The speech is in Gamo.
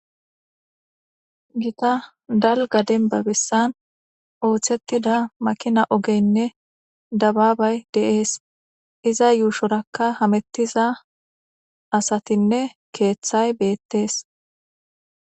gita dalga denba bessan ooththettida makina ogeynne dabaabay deees iza yuushorakka hamettiza asatinne keeththay beettees